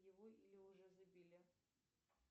его или уже забили